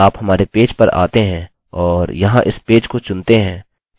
अतः यदि आप हमारे पेज पर आते हैं और यहाँ इस पेज को चुनते हैं